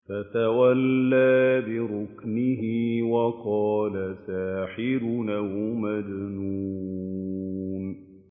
فَتَوَلَّىٰ بِرُكْنِهِ وَقَالَ سَاحِرٌ أَوْ مَجْنُونٌ